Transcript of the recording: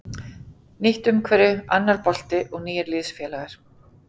Nýtt umhverfi, annar bolti og nýir liðsfélagar.